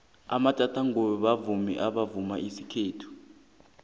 amatjata nqubo bavumi abavuma isikhethu